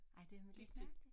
Ej det nu lidt mærkeligt